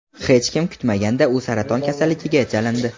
Hech kim kutmaganda u saraton kasalligiga chalindi.